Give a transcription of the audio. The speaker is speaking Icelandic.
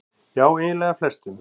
Já eiginlega flestum.